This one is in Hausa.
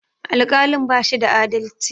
Alƙalin bashi da adalci